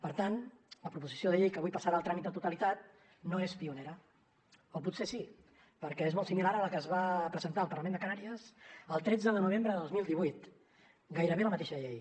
per tant la proposició de llei que avui passarà el tràmit de totalitat no és pionera o potser sí perquè és molt similar a la que es va presentar al parlament de canàries el tretze de novembre de dos mil divuit gairebé la mateixa llei